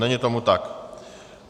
Není tomu tak.